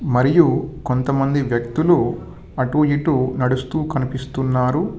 మరియు కొంతమంది వ్యక్తులు అటు ఇటు నడుస్తూ కనిపిస్తున్నారు.